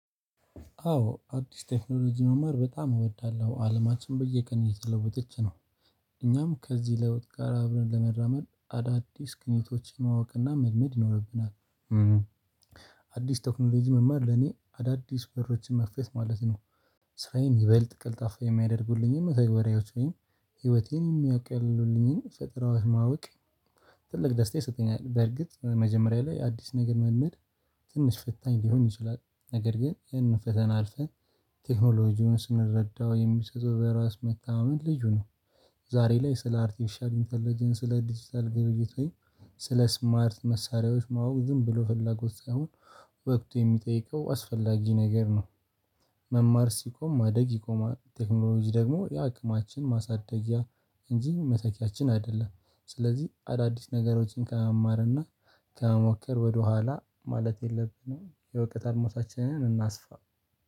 አዎ አዲስ ቴክኖሎጂ መማር በጣም እወዳለሁ አለማችን በየቀኑ እየተለወጠች ነው። እኛም ከዚህ ለውጥ ጋር አብረን ለመራመድ አዳዲስ ግኝቶችን ማወቅና መልመድ ይኖርብናል። አዲስ ተክኖሎጂ መማር ለኔ አዳዲስ በሮችን መክፈት ማለት ነው። ስራዬን ይበልጥ ቀልጣፋ የሚያደርጉልኝን መተግበሪያዎች ወይም ህይወቴን የሚያቀሉልኝን ፈጠራዎች ማወቅ። ትልቅ ደስታ ይሰጠኛል በርግጥ መጀመሪያ ላይ አዲስ ነገር መልመድ ትንሽ ፈታኝ ሊሆን ይችላል ነገር ግን ይሄንን ፈተና አልፈን ቴክኖሎጂውን ስንረዳው የሚሰጠው በራስ መተማመን ልዩ ነው። ዛሬ ላይ ስለ አርቲፊሻል እኢንተለጀንስ ስለ ዲጂታል ግብይት ላይ ስለ ስማርት መሳሪያዎች ማወቅ ዝም ብሎ ፍላጎት ሳይሆን ወቅቱ የሚጠይቀው አስፈላጊ ነገር ነው። መማር ሲቆም ማደግ ይቆማል ቴክኖሎጂ ደግሞ የአቅማችን ማሳደጊያ እንጂ መተኪያችን አይደለም። ስለዚህ አዳዲስ ነገሮችን ከመማርና ከመሞከር ወደኋላ ማለት የለብንም። የእውቀት አርማውታችንን እናስፋ